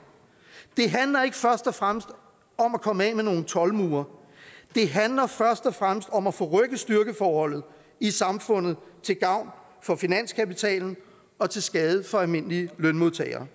det handler ikke først og fremmest om at komme af med nogle toldmure det handler først og fremmest om at forrykke styrkeforholdet i samfundet til gavn for finanskapitalen og til skade for almindelige lønmodtagere